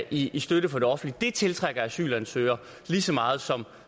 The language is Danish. i støtte fra det offentlige det tiltrækker asylansøgere lige så meget som